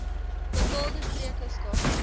bepaalde streke skakel